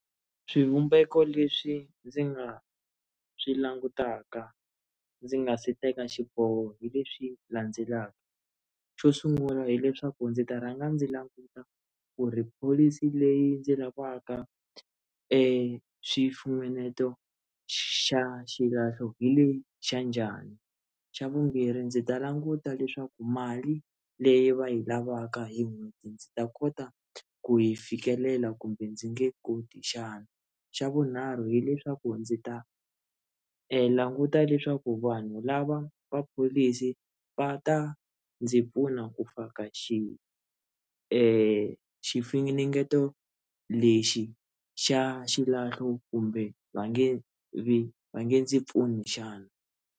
Swivumbeko leswi ndzi nga swi langutaka ndzi nga si teka xiboho hi leswi landzelaka xo sungula hileswaku ndzi ta rhanga ndzi languta ku ri pholisi leyi ndzi lavaka eku xifunengeto xa xilahlo hi lexa njhani xa vumbirhi ndzi ta languta leswaku mali leyi va yi lavaka hi n'hweti ndzi ta kota ku yi fikelela kumbe ndzi nge koti xana xa vunharhu hileswaku ndzi ta languta leswaku vanhu lava va pholisi va ta ndzi pfuna ku faka xi xifunengeto lexi xa xilahlo kumbe va nge ndzi pfuni xana.